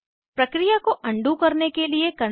प्रक्रिया को अनडू करने के लिए CTRLZ दबाएं